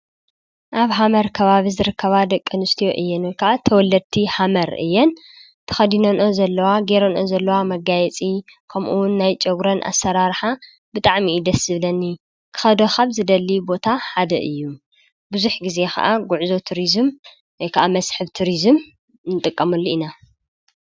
ኣብ ሃመር ከባቢ ዝርከባ ደቂ ኣንስትዮ እየን ወይከዓ ተወልድቲ ሃመር እየን። ተከዲኖኖኦ ዘለዋ ገይረንኦ ዘለዋ መጋይጺ ከምኡ ዉን ናይ ጨጉረን ኣሰራርሓ ብጣዕሚ እዩ ደስ ዝብለኒ ክኸዶ ካብ ዝደሊ ቦታ ሓደ እዩ። ብዙሕ ግዜ ከዓ ጉዕዞ ቱሪዝም ወይ ከዓ መስሕብ ትሪዙም ንጥቀመሉ ኢና ።